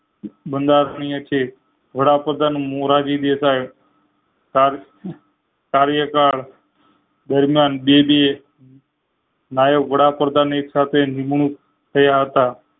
બંધારણીય છે વડાપ્રધાન મોરારી દેસાઈ સાર કાર્યકર દરમિયાન બે ડીએ નાયક વડાપ્રધાન એ એક સાથે નિમણુંક થયા હતા